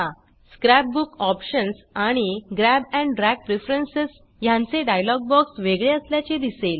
scrap book options आणि grab and drag preference ह्यांचे dialogue box वेगळे असल्याचे दिसेल